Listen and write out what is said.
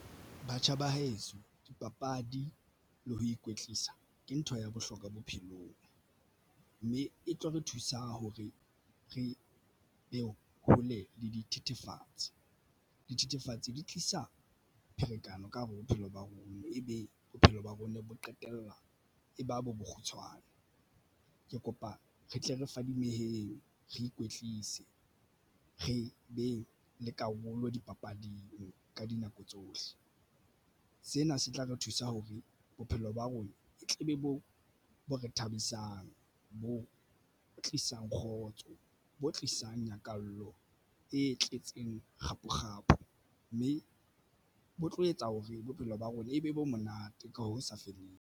Batjha ba heso dipapadi le ho ikwetlisa ke ntho ya bohlokwa bophelong mme e tlo re thusa hore re be hole le dithethefatsi. Dithethefatsi di tlisa pherekano ka hare. Bophelo ba rona e be bophelo ba rona bo qetella e ba bo bokgutshwane ke kopa re tle re fadimehile re ikwetlise re be le karolo dipapading ka dinako tsohle. Sena se tla re thusa hore bophelo ba rona e tle be boo bo re thabisang, bo tlisang kgotso, bo tlisang nyakallo e tletseng kgapo kgapo mme bo tlo etsa hore bophelo ba rona e be bo monate ka ho sa feleng.